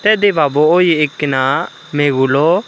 tey debabo oye ekkena megulo.